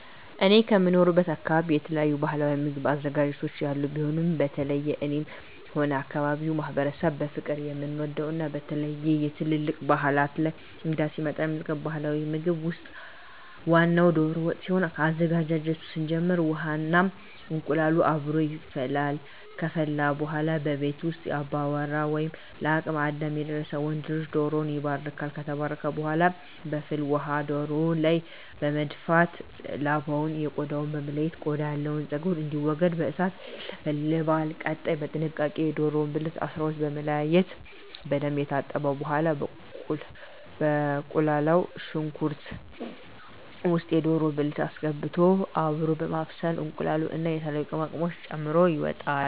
እኔ ከምኖርበት አካበቢ የተለያዩ ባህላዊ ምግብ አዘገጃጀቶች ያሉ ሲሆን በተለየ እኔም ሆነ የአካባቢዉ ማህበረሰብ በፍቅር የምንወደው እና በተለየ በትልልቅ ባህላት እና እንግዳ ሲመጣ የሚቀርበው ባህላዊ ምግብ ውስጥ ዋናው ደሮ ወጥ ሲሆን ከአዘገጃጀቱ ስንጀምር ውሃ እና እንቁላሉ አብሮ ይፈላል ከፈላ በኃላ ከቤት ውስጥ አባወራ ወይም ለአቅመ አዳም የደረሰ ወንድ ልጅ ደሮዉን ይባርካል። ከተባረከ በኃላ በፍል ውሃው ደሮው ላይ በመድፋት ላባውን ከ ቆዳው በመለየት ቆዳው ያለው ፀጉር እንዲወገድ በእሳት ይለበለባል። ቀጣይ በጥንቃቄ የደሮውን ብልት ከ 12 በመለያየት በደንብ ከታጠበ በኃላ በተቁላላው ሽንኩርት ውስጥ የደሮ ብልት አስገብቶ አብሮ በማብሰል እንቁላሉን እና የተለያዩ ቅመማ ቅመሞችን ተጨምሮ ይወጣል።